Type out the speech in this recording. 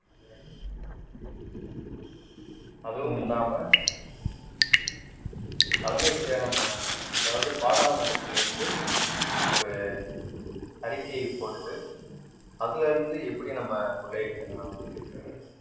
அதுவும் இல்லாம தலைமைச் செயலகம் அதாவது பாராளுமன்றத்தில் இருந்து ஒரு அறிக்கையைப் போட்டு அதுல இருந்து எப்படி நம்ம கொள்ளையடிக்கலாம்